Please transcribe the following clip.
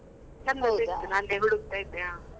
ಇತ್ತು ನಂಗೆ ಹುಡುಕ್ತ ಇದ್ದೆ.